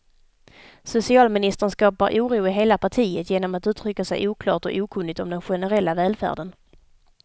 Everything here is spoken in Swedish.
Socialministern skapar oro i hela partiet genom att uttrycka sig oklart och okunnigt om den generella välfärden.